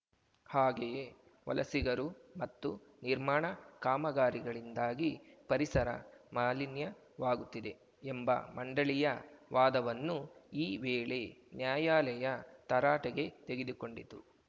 ಹಾಗೆಯೇ ವಲಸಿಗರು ಮತ್ತು ನಿರ್ಮಾಣ ಕಾಮಗಾರಿಗಳಿಂದಾಗಿ ಪರಿಸರ ಮಾಲಿನ್ಯವಾಗುತ್ತಿದೆ ಎಂಬ ಮಂಡಳಿಯ ವಾದವನ್ನೂ ಈ ವೇಳೆ ನ್ಯಾಯಾಲಯ ತರಾಟೆಗೆ ತೆಗೆದುಕೊಂಡಿತು